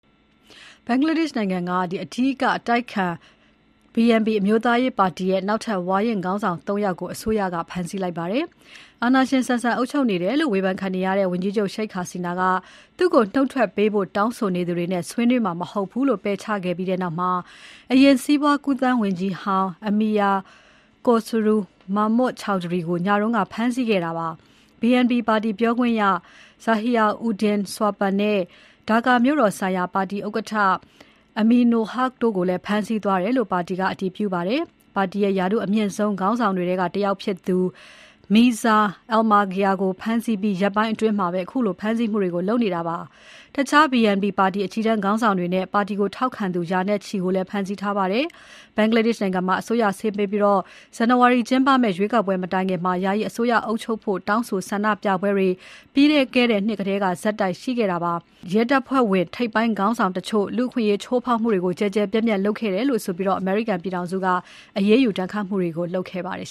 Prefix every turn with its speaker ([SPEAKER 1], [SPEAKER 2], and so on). [SPEAKER 1] ဘင်္ဂလားဒေ့ရှ်နိုင်ငံက အဓိက အတိုက်အခံ BNP အမျိုးသားရေးပါတီရဲ့ နောက်ထပ် ဝါရင့် ခေါင်းဆောင် ၃ ယောက်ကို အစိုးရက ဖမ်းဆီးလိုက်ပါတယ်။ အာဏာရှင်ဆန်ဆန် အုပ်ချုပ်နေတယ်လို့ ဝေဘန်ခံနေရတဲ့ ဝန်ကြီးချုပ် Sheikh Hasina က သူ့ကိုနှုတ်ထွက်ပေးဖို့တောင်းဆိုနေသူတွေနဲ့ ဆွေးနွေးမှာ မဟုတ်ဘူးလို့ ပယ်ချခဲ့ပြီးနောက် အရင်စီးပွားကူးသန်းဝန်ကြီးဟောင်း Amir Khosru Mahmud Chowdhury ကို နိုဝင်ဘာ ၂ ရက်နေ့ ညကဖမ်းဆီးခဲ့တာပါ။ BNP ပါတီပြောခွင့်ရ Zahir Uddin Swapan နဲ့ Dhaka မြို့တော်ဆိုင်ရာပါတီဥက္ကဋ္ဌ Aminul Huq တို့ကိုလည်း ဖမ်းဆီးသွားတယ်လို့ ပါတီက အတည်ပြုပါတယ်။ ပါတီရဲ့ ရာထူးအမြင့်ဆုံး ခေါင်းဆောင်တွေထဲကတယောက်ဖြစ်သူ Mirza Fakhrul Islam Alamgir ကိုဖမ်းဆီးပြီး ရက်ပိုင်းအတွင်းမှာပဲ ခုလို ဖမ်းဆီးမှုတွေကို လုပ်နေတာပါ။ တခြား BNP ပါတီ အကြီးတန်းခေါင်းဆောင်တွေနဲ့ ပါတီကိုထောက်ခံသူ ရာနဲ့ချီကိုလည်း ဖမ်းဆီးထားပါတယ်။ ဘင်္ဂလားဒေ့ရှ်နိုင်ငံမှာ အစိုးရဆင်းပေးပြီး ဇန်နဝါရီကျင်းပမယ့် ရွေးကောက်ပွဲ မတိုင်ခင် ယာယီအစိုးရ အုပ်ချုပ်ဖို့ တောင်းဆိုဆန္ဒပြပွဲတွေ ပြီးခဲ့တဲ့နှစ်ထဲက ဆက်တိုက်ရှိခဲ့ပါတယ်။ လက်ရှိအစိုးရထဲက ရဲတပ်ဖွဲ့ဝင်ထိပ်ပိုင်းခေါင်းဆောင်တချို့ လူ့အခွင့်အရေးချိုးဖောက်မှုတွေ ကျယ်ကျယ်ပြန့်ပြန့်လုပ်ခဲ့တယ်ဆိုပြီး အမေရိကန်ပြည်ထောင်စုက အရေ
[SPEAKER 2] းယူ ဒဏ်ခတ်မှုတွေ လုပ်ခဲ့ပါတယ်